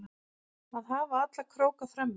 Að hafa alla króka frammi